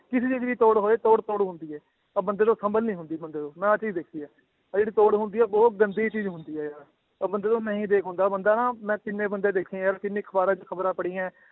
ਕਿਸੇ ਦੀ ਵੀ ਤੋੜ ਹੋਏ ਤੋੜ ਤੋੜ ਹੁੰਦੀ ਹੈ ਆਹ ਬੰਦੇ ਤੋਂ ਸੰਭਲ ਨੀ ਹੁੰਦੀ ਬੰਦੇ ਤੋਂ, ਮੈਂ ਆਹ ਚੀਜ਼ ਦੇਖੀ ਹੈ, ਆਹ ਜਿਹੜੀ ਤੋੜ ਹੁੰਦੀ ਹੈ ਬਹੁਤ ਗੰਦੀ ਚੀਜ਼ ਹੁੰਦੀ ਹੈ ਆਹ, ਉਹ ਬੰਦੇ ਤੋਂ ਨਹੀਂ ਦੇਖ ਹੁੰਦਾ ਬੰਦਾ ਨਾ ਮੈਂ ਜਿੰਨੇ ਬੰਦੇ ਦੇਖੇ ਯਾਰ ਜਿੰਨੀ ਅਖ਼ਬਾਰਾਂ 'ਚ ਖ਼ਬਰਾਂ ਪੜ੍ਹੀਆਂ ਹੈ